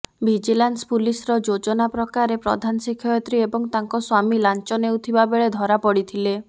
vigilance ପୁଲିସର ଯୋଜନା ପ୍ରକାରେ ପ୍ରଧାନ ଶିକ୍ଷୟିତ୍ରୀ ଏବଂ ତାଙ୍କ ସ୍ୱାମୀ ଲାଞ୍ଚ ନେଉଥିବାବେଳେ ଧରା ପଡ଼ିଥିଲେ